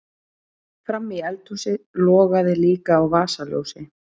Frammí eldhúsi logaði líka á vasaljósi.